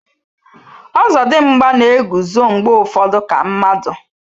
Ozodimgba na-eguzo mgbe ụfọdụ ka mmadụ